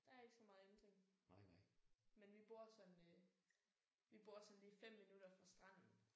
Der er ikke så meget ændring. Men vi bor sådan øh vi bor sådan lige 5 minutter fra stranden